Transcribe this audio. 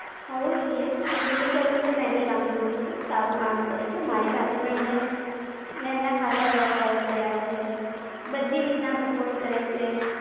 થવું જોઈએ. ગુલ્લુ સરનું તો મેં ભી કામ જોયું છે, સારું કામ કરે છે, મારી સાથે પણ એમને, મેં એમના ખાસા એવા Call કર્યા છે. બધી રીતના Support કરે છે.